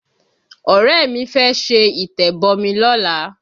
Ọ̀rẹ́ mi fẹ́ ṣe ìtẹ̀bọmi lọ́la